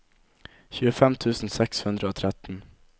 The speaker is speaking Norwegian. tjuefem tusen seks hundre og tretten